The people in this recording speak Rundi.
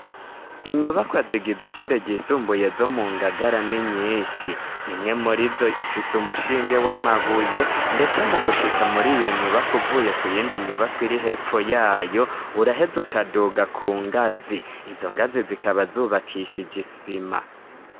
Inyubakwa zigize ishure ryisumbuye zo mu Ngagara ni nyinshi, imwe muri zo ifise umushinge w'amabuye ndetse mu gushika muri iyo nyubakwa uvuye ku yindi nyubakwa iri hepfo yayo uraheza ukaduga ku ngazi, izo ngazi zikaba zubakishije isima.